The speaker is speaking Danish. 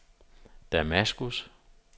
Damaskus